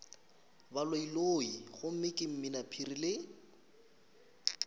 baloiloi gomme ke mminaphiri le